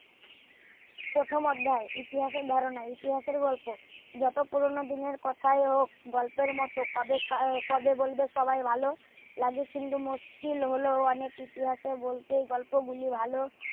প্রথম অধ্যায় ইতিহাসের ধারণা ইতিহাসের গল্প যত পুরোনো দিনের কথাই হোক গল্পের মতো কবে বলবে সবাই ভালো লাগে কিন্তু মুশকিল হোলো অনেক ইতিহাসের বলতে গল্প গুলি ভালো